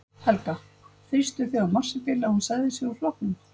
Helga: Þrýstuð þið á Marsibil að hún segði sig úr flokknum?